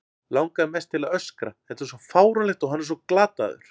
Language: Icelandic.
Langar mest til að öskra, þetta er svo fáránlegt og hann svo glataður.